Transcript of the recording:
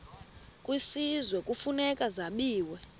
kwisizwe kufuneka zabiwe